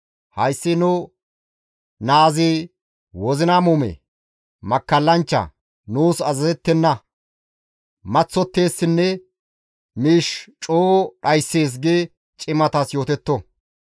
«Hayssi nu naazi wozina muume; makkallanchcha; nuus azazettenna; maththotteessinne miish coo dhayssees» gi cimatas yootetto.